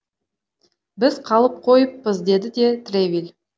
біз қалып қойыппыз деді де тревиль